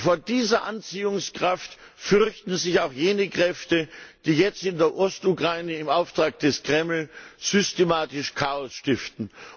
Vor dieser Anziehungskraft fürchten sich auch jene Kräfte, die jetzt in der Ostukraine im Auftrag des Kreml systematisch Chaos stiften.